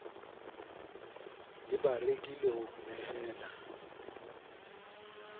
le bareki le ho nehela